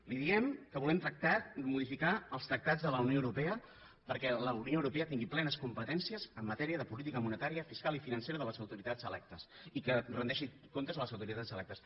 li diem que volem tractar de modificar els tractats de la unió europea perquè la unió europea tingui plenes competències en matèria de política monetària fiscal i financera de les autoritats electes i que rendeixi comptes a les autoritats electes